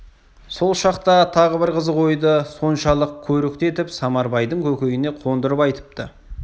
сол шақта тағы бір қызық ойды соншалық көрікті етіп самарбайдың көкейіне қондырып айтыпты